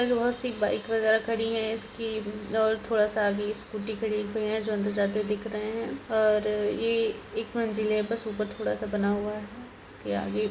बहुत सी बाइक वगैरह खड़ी है इसकी और थोड़ा-सा आगे स्कूटी खड़ी हुई है जो अंदर जाते दिख रहे हैं| और ये एक मंज़िले हैं बस ऊपर थोड़ा-सा बना हुआ है इसके आगे।